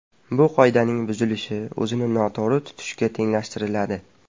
Bu qoidaning buzilishi o‘zini noto‘g‘ri tutishga tenglashtiriladi.